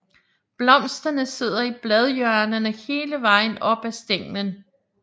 Blomsterne sidder i bladhjørnerne hele vejen op ad stænglen